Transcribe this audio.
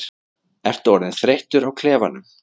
Ertu orðinn þreyttur á klefanum?